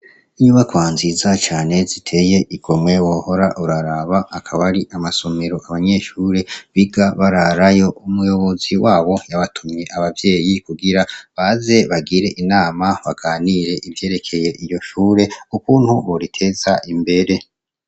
Inyubakwa nziza cane kandi ziteye igomwe wohora uraraba, akaba ari amasomero ku banyeshure biga bararayo, umuyobozi wabo yabatumye abavyeyi kugira ngo baze bagire inama baganire ivyerekeye iryo shure ukuntu boriteza imbere.